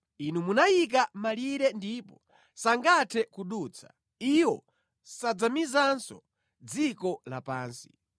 Inu munayika malire ndipo sangathe kudutsa, iwo sadzamizanso dziko lapansi.